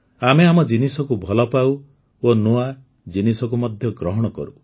ଆମେ ଆମ ଜିନିଷକୁ ଭଲ ପାଉ ଓ ନୂଆ ଜିନିଷକୁ ମଧ୍ୟ ଗ୍ରହଣ କରୁ